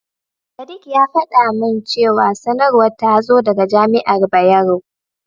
Sadik ya faɗa min cewa sanarwar ta zo daga Jami'ar Bayero.